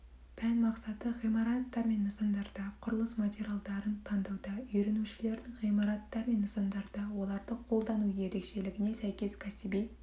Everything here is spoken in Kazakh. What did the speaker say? пән мақсаты ғимараттар мен нысандарда құрылыс материалдарын таңдауда үйренушілердің ғимараттар мен нысандарда оларды қолдану ерекшелігіне сәйкес кәсіби